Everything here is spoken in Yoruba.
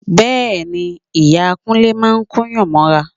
Bẹ́ẹ̀ ni, ìyá Kúnlé máa kóyàn mọ́ra